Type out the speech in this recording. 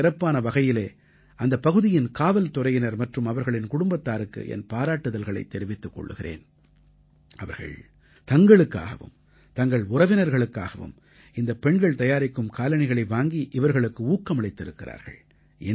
நான் சிறப்பான வகையிலே அந்தப் பகுதியின் காவல்துறையினர் மற்றும் அவர்களின் குடும்பத்தாருக்கு என் பாராட்டுக்களைத் தெரிவித்துக் கொள்கிறேன் அவர்கள் தங்களுக்காகவும் தங்கள் உறவினர்களுக்காகவும் இந்தப் பெண்கள் தயாரிக்கும் காலணிகளை வாங்கி இவர்களுக்கு ஊக்கமளித்திருக்கிறார்கள்